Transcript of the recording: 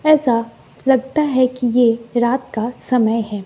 ऐसा लगता है कि ये रात का समय है।